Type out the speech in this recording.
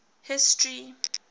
history